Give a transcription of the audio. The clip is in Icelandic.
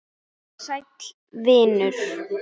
Sæll vinur